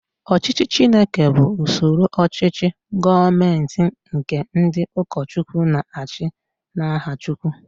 Ọchịchị Chineke bụ usoro ochichi gọọmenti nke ndị ụkọchukwu na-achi n'aha chukwu.